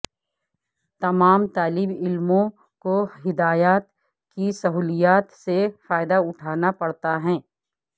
تمام طالب علموں کو ہدایات کی سہولیات سے فائدہ اٹھانا پڑتا ہے